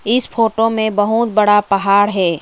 इस फोटो में बहुत बड़ा पहाड़ है।